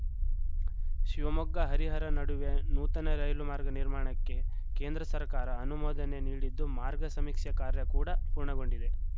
ಶಿವಮೊಗ್ಗ ಹರಿಹರ ನಡುವೆ ನೂತನ ರೈಲುಮಾರ್ಗ ನಿರ್ಮಾಣಕ್ಕೆ ಕೇಂದ್ರ ಸರ್ಕಾರ ಅನುಮೋದನೆ ನೀಡಿದ್ದು ಮಾರ್ಗ ಸಮೀಕ್ಷೆ ಕಾರ್ಯ ಕೂಡ ಪೂರ್ಣಗೊಂಡಿದೆ